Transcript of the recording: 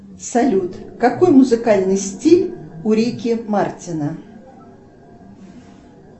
салют какой музыкальный стиль у рики мартина